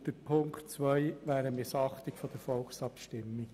Der zweite Punkt wäre eine Missachtung der Volksabstimmung.